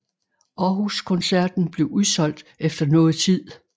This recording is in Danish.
Aarhus koncerten blev udsolgt efter noget tid